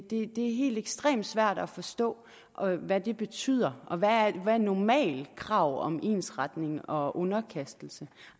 det er helt ekstremt svært at forstå hvad det betyder og hvad er et normalt krav om ensretning og underkastelse